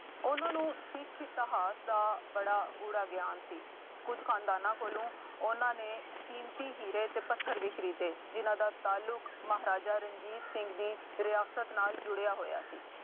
ਉਹਨਾ ਨੂੰ ਸਿੱਖ ਇਤਿਹਾਸ ਦਾ ਬੜਾ ਗੂੜਾ ਗਿਆਨ ਸੀ। ਕੁੱਝ ਖਾਨਦਾਨਾਂ ਕੋਲੋਂ ਉਹਨਾ ਨੇ ਕੀਮਤੀ ਹੀਰੇ ਅਤੇ ਪੱਥਰ ਵੀ ਖਰੀਦੇ ਜਿੰਨ੍ਹਾ ਦਾ ਤਾਲੁਕ ਮਹਾਰਾਜਾ ਰਣਜੀਤ ਸਿੰਘ ਦੀ ਵਿਰਾਸਤ ਨਾਲ ਜੁੁੜਿਆ ਹੋਇਆ ਸੀ।